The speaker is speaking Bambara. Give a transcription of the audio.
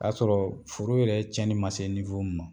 O y'a sɔrɔ foro yɛrɛ tiɲɛni ma se min ma.